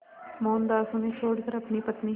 मोहनदास उन्हें छोड़कर अपनी पत्नी